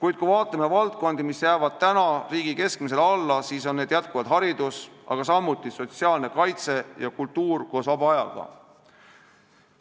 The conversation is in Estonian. Ent kui vaatame valdkondi, mis jäävad praegu riigi keskmisele alla, siis on need jätkuvalt haridus, samuti sotsiaalkaitse ja kultuur koos vaba ajaga.